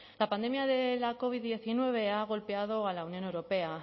la pandemia de la covid diecinueve ha golpeado a la unión europea